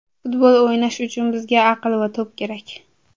Futbol o‘ynash uchun bizga aql va to‘p kerak.